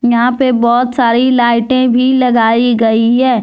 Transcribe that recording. यहां पे बहोत सारी लाइटें भी लगाई गई है।